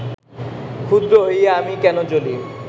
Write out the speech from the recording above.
ক্ষুদ্র হইয়া আমি কেন জ্বলি